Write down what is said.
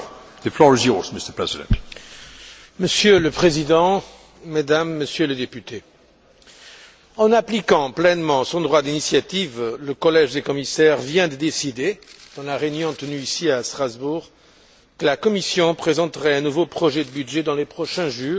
Monsieur le Président, Mesdames et Messieurs les députés, en appliquant pleinement son droit d'initiative, le collège des commissaires vient de décider, dans la réunion tenue ici à Strasbourg, que la Commission présenterait un nouveau projet de budget dans les prochains jours, au plus tard le 1er décembre.